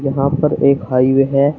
यहां पर एक हाईवे है।